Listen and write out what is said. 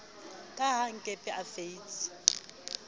ka ha nkepe a feitse